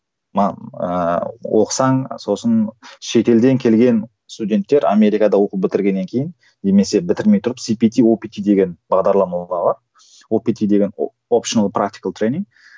оқысаң сосын шетелден келген студенттер америкада оқу бітіргеннен кейін немесе бітірмей тұрып сипити опити деген бағдарлама опити деген